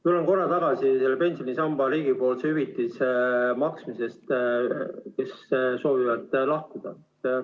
Tuleme korraks tagasi teise pensionisamba riigipoolse hüvitise juurde, mida makstakse nendele, kes soovivad sambast lahkuda.